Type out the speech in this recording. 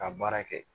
Ka baara kɛ